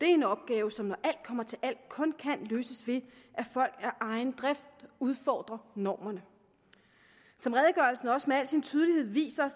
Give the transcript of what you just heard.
en opgave som når alt kommer til alt kun kan løses ved at folk af egen drift udfordrer normerne som redegørelsen også med al sin tydelighed viser